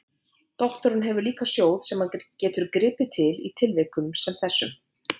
Doktorinn hefur líka sjóð sem hann getur gripið til í tilvikum sem þessum.